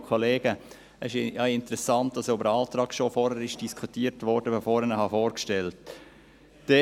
Es ist interessant, dass über den Antrag schon diskutiert wurde, bevor ich ihn vorgestellt habe.